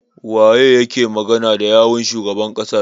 Waye yake magana da yawun shugaban ƙasar?